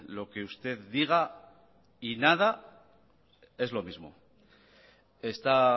lo que usted diga y nada es lo mismo está